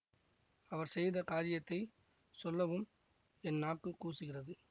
அவர் செய்த காரியத்தை சொல்லவும் என் நாக்குக் கூசுகிறது